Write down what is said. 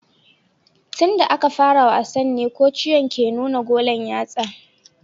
Tun da aka fara wasan ne kociyan ke nuna golan yatsa